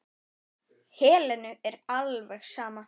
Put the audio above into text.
Helenu er alveg sama.